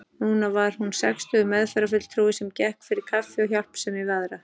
Núna var hún sextugur meðferðarfulltrúi sem gekk fyrir kaffi og hjálpsemi við aðra.